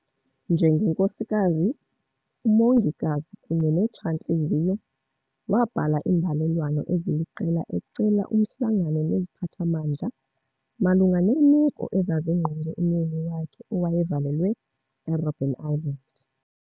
Njengenkosikazi, umongikazi kunye netshantliziyo, wabhala imbalelwano eziliqela ecela umhlangano neziphatha mandla malunga neemeko ezazingqonge umyeni wakhe owaye valelwe eRobben Island.